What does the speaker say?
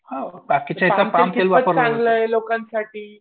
Palm तेल कितपत चांगलं आहे लोकांसाठी?